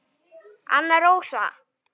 Anna Rósa.